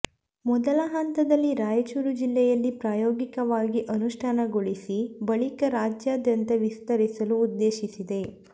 ಮೊದಲ ಹಂತದಲ್ಲಿ ರಾಯಚೂರು ಜಿಲ್ಲೆಯಲ್ಲಿ ಪ್ರಾಯೋಗಿಕವಾಗಿ ಅನುಷ್ಠಾನಗೊಳಿಸಿ ಬಳಿಕ ರಾಜ್ಯಾದ್ಯಂತ ವಿಸ್ತರಿಸಲು ಉದ್ದೇಶಿಸಿದೆ